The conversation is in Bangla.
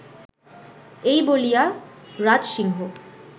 এই বলিয়া রাজসিংহ